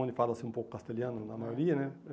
Onde fala-se um pouco castelhano, na maioria, né? É